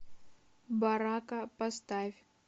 барака поставь